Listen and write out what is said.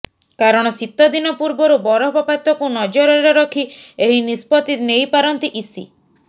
କାରଣ ଶୀତଦିନ ପୂର୍ବରୁ ବରଫପାତକୁ ନଜରରେ ରଖି ଏହି ନିଷ୍ପତି ନେଇପାରନ୍ତି ଇସି